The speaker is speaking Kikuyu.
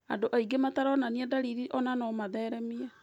Andũ mataronania ndariri o nao no maũtheremie.